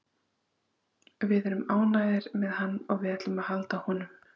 Við erum ánægðir með hann og við ætlum að halda honum.